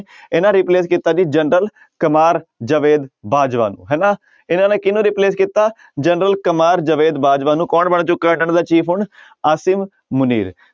ਇਹਨਾਂ replace ਕੀਤਾ ਜੀ ਜਨਰਲ ਕਮਾਰ ਜਵੇਦ ਬਾਜਵਾ ਨੂੰ ਹਨਾ ਇਹਨਾਂ ਨੇ ਕਿਹਨੂੰ replace ਕੀਤਾ ਜਨਰਲ ਕਮਾਰ ਜਵੇਦ ਬਾਜਵਾ ਨੂੰ ਕੌਣ ਬਣ ਚੁੱਕਾ ਇਹਨਾਂ ਦਾ chief ਹੁਣ ਅਸੀਮ ਮੁਨੀਰ।